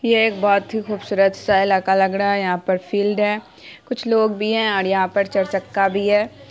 ये एक बहुत ही खुबसूरत सा इलाका लग रहा है। यहां पर फील्ड है कुछ लोग भी हैं और यहां पर चर चक्का भी है।